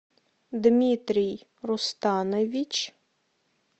дмитрий рустанович